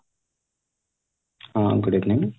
ହଁ good evening